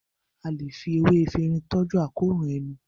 a lẹ fí ewé Efinrin toju àkóràn ẹnu.